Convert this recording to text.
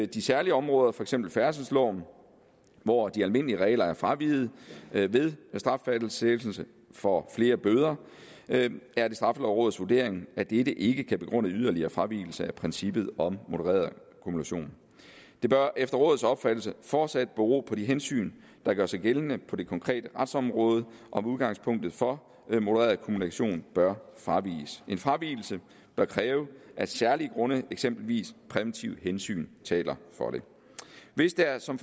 de særlige områder for eksempel færdselsloven hvor de almindelige regler er fraveget ved straffastsættelse for flere bøder er det straffelovrådets vurdering af dette ikke kan begrunde yderligere fravigelse af princippet om modereret kumulation det bør efter rådets opfattelse fortsat bero på de hensyn der gør sig gældende på det konkrete retsområde om udgangspunktet for modereret kumulation bør fraviges en fravigelse bør kræve at særlige grunde eksempelvis præventive hensyn taler for det hvis der som